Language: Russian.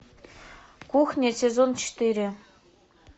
кухня сезон четыре